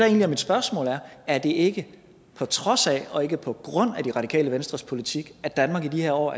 er mit spørgsmål er er det ikke på trods af og ikke på grund af det radikale venstres politik at danmark i de her år